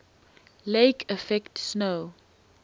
lake effect snow